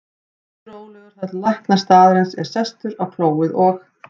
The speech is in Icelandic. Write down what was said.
Ég bíð rólegur þar til læknir staðarins er sestur á klóið og